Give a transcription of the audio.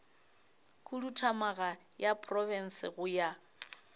khuduthamaga ya profense go ya